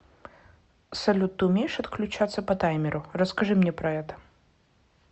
салют ты умеешь отключаться по таймеру расскажи мне про это